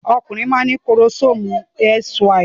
Ọkùnrin máa ń ní kórómósómù XY.